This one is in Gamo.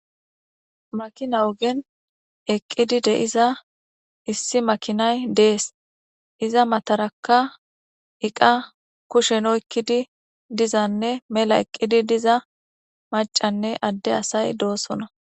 Makina ogen eqi deiza issi makinay dees iza mataraka eqa kushen oyiqidi dizanee mela eqidi diza macanee ade asay do'sona